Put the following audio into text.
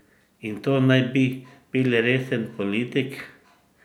In to naj bi bil resen politik?